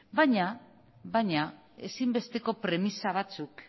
baina ezinbesteko premisa batzuk